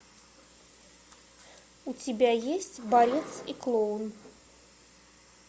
у тебя есть борец и клоун